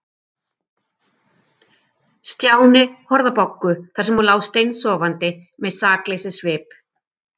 Stjáni horfði á Boggu þar sem hún lá steinsofandi með sakleysissvip.